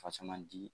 Fasamandii